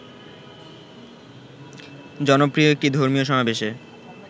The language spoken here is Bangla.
জনপ্রিয় একটি ধর্মীয় সমাবেশে